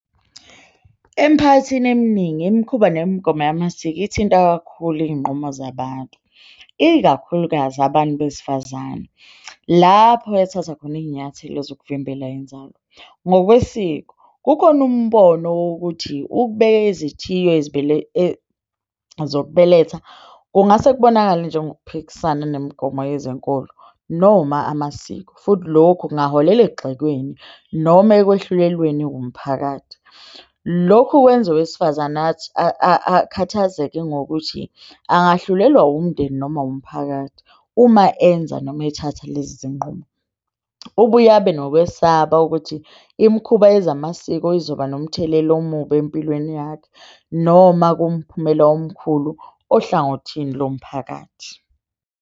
Emphakathini eminingi, imikhuba nemigomo yamasiko ithinta kakhulu iyinqumo zabantu, ikakhulukazi abantu besifazane lapho ethatha khona iyinyathelo zokuvimbela inzalo. Ngokwesiko kukhona umbono wokuthi ukubeke izithiyo ezibele zokubeletha kungase kubonakale njengokuphikisana nemigomo yezenkolo noma amasiko, futhi lokhu kungaholela ekugxekweni noma ekwahluleleni wumphakathi. Lokhu kwenza owesifazane athi akhathazeke ngokuthi angahlulelwa wumndeni noma wumphakathi uma enza noma ethatha lezi zinqumo. Ubuye abe nokwesaba ukuthi imikhuba yezamasiko izoba nomthelela omubi empilweni yakhe noma kumphumela omkhulu ohlangothini lomphakathi.